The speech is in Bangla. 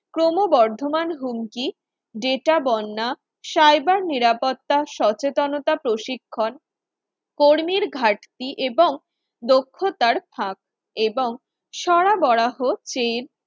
ক্রমবর্ধমান হুমকি Data বন্যা, cyber নিরাপত্তার সচেতনতা প্রশিক্ষণ কর্মীর ঘাটতি এবং দক্ষতার ফাঁক এবং সরবরাহ freeze